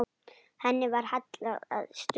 Henni var hallað að stöfum.